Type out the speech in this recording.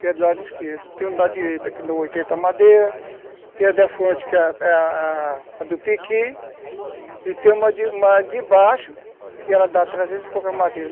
que é do lado esquerdo, tem um da direita, que dá oitenta madeira, tem a da frente, que é a a do pequi, e tem uma de baixo, que ela dá trezentos e poucas madeiras.